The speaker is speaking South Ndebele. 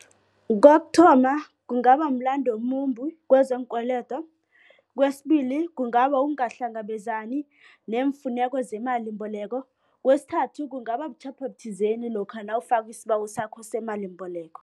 Kokuthoma, kungaba mlando omumbi kwezeenkweledo. Kwesibili, kungaba ukungahlangabezani neemfuneko zemalimbeloko. Kwesithathu, kungaba butjhapho buthizeni lokha nawufaka isibawo sakho semalimboleko.